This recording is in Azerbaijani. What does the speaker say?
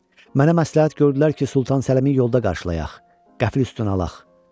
Mənə məsləhət gördülər ki, Sultan Səlimi yolda qarşılayaq, qəfl üstünə alaq.